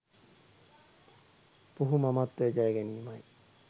පුහු මමත්වය ජයගැනීමයි.